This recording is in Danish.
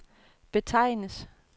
betegnes